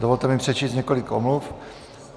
Dovolte mi přečíst několik omluv.